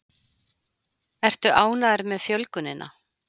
Ertu ánægður með fjölgunina?